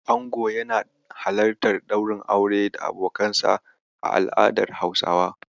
Ango yana halartar ɗaurin aure da abokanansa a al'adar Hausawa.